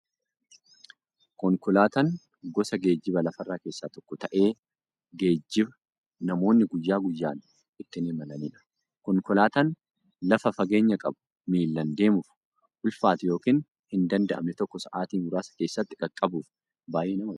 Konkolaataan gosa geejjiba lafarraa keessaa tokko ta'ee, geejjiba namoonni guyyaa guyyaan ittiin imalaniidha. Konkolaataan lafa fageenya qabu, miillan deemuuf ulfaatu yookiin hin danda'amne tokko sa'aatii muraasa keessatti qaqqabuuf baay'ee nama gargaara.